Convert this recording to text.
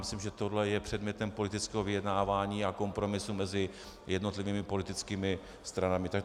Myslím, že to je předmětem politického vyjednávání a kompromisu mezi jednotlivými politickými stranami.